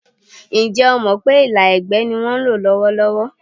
Ǹjẹ́ o mọ̀ pé ìlà ẹ̀gbẹ́ ni wọ́n ń lò lọ́wọ́lọ́wọ́?